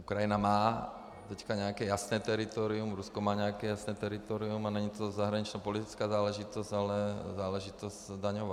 Ukrajina má teď nějaké jasné teritorium, Rusko má nějaké jasné teritorium a není to zahraničněpolitická záležitost, ale záležitost daňová.